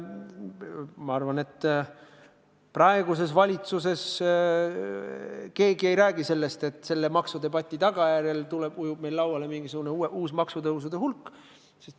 Ma arvan, et praeguses valitsuses keegi ei räägi sellest, et maksudebati tagajärjel ujub meie lauale mingisugune uus hulk maksutõuse.